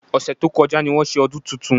Ọ̀sẹ̀ tó kọjá ni wọ́n ṣe ọdún tuntun